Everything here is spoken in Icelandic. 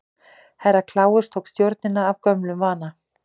Herra Kláus tók stjórnina að gömlum vana.